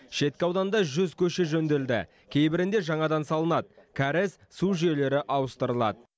шеткі ауданда жүз көше жөнделді кейбірінде жаңадан салынады кәріз су жүйелері ауыстырылады